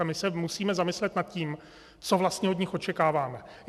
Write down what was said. A my se musíme zamyslet nad tím, co vlastně od nich očekáváme.